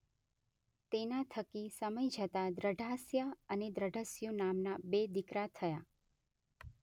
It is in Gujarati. તેના થકી સમય જતા દૃઢાસ્ય અને દૃઢસ્યુ નામના બે દીકરા થયા.